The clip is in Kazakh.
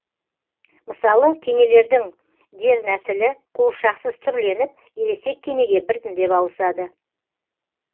мысалы кенелердің дернәсілі қуыршақсыз түрленіп ересек кенеге біртіндеп ауысады